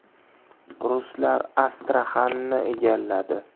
Ruslar Astraxanni egalladi.